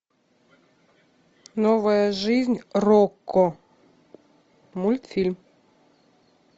новая жизнь рокко мультфильм